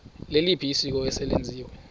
liliphi isiko eselenziwe